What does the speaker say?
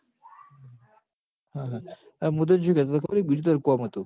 મું તન શું કેતો તો ક બીજું તારું કોમ અતું